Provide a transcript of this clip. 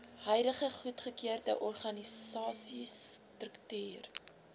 huidige goedgekeurde organisasiestruktuur